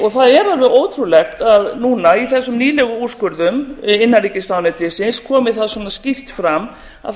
það er alveg ótrúlegt að núna í þessum nýlegu úrskurðum innanríkisráðuneytisins komi það svona skýrt fram að það er